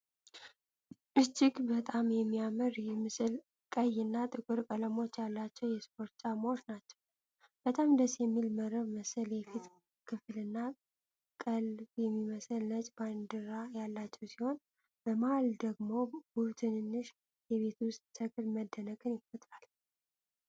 እጅግ በጣም የሚያምር ይህ ምስል ቀይ እና ጥቁር ቀለሞች ያሏቸው የስፖርት ጫማዎች ናቸው። በጣም ደስ የሚል መረብ መሰል የፊት ክፍልና ቀልብ የሚስብ ነጭ ባንድ ያላቸው ሲሆን, በመሃል ደግሞ ውብ ትንሽ የቤት ውስጥ ተክል መደነቅን ይፈጥራል።